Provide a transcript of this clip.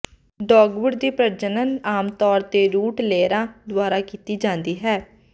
dogwood ਦੀ ਪ੍ਰਜਨਨ ਆਮ ਤੌਰ ਤੇ ਰੂਟ ਲੇਅਰਾਂ ਦੁਆਰਾ ਕੀਤੀ ਜਾਂਦੀ ਹੈ